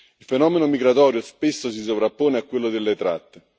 Il fenomeno migratorio spesso si sovrappone a quello delle tratte.